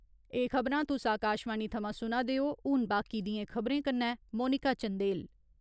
एह खबरां तुस आकाशवाणी थमां सुना दे ओ, हून बाकी दियें खबरें कन्नै मोनिका चंदेल।